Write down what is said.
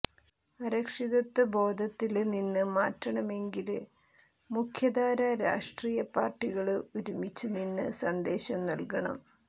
അരക്ഷിത്വബോധത്തില് നിന്നും മാറ്റണമെങ്കില് മുഖ്യധാരാ രാഷ്ട്രീയ പാര്ട്ടികള് ഒരുമിച്ച് നിന്ന് സന്ദേശം നല്കണം